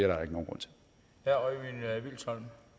er